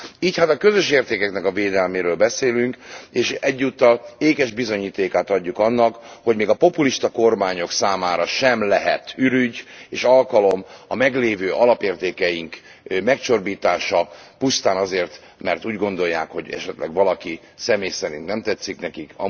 Így hát a közös értékeknek a védelméről beszélünk, és egyúttal ékes bizonyítékát adjuk annak, hogy még a populista kormányok számára sem lehet ürügy és alkalom a meglévő alapértékeink megcsorbítása pusztán azért, mert úgy gondolják, hogy esetleg valaki személy szerint nem tetszik nekik.